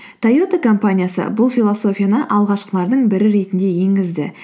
тойота компаниясы бұл философияны алғашқылардың бірі ретінде енгізді